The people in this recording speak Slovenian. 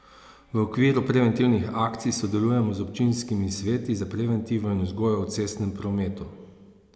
V okviru preventivnih akcij sodelujemo z občinskimi sveti za preventivo in vzgojo v cestnem prometu.